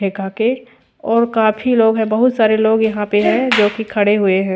एकाके और काफी लोग है बहुत सारे लोग यहाँ पे है जो की खड़े हुए है।